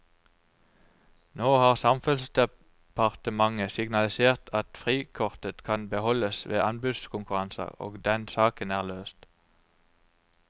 Nå har samferdselsdepartementet signalisert at frikortet kan beholdes ved anbudskonkurranser, og den saken er løst.